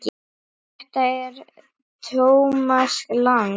Þetta er Thomas Lang.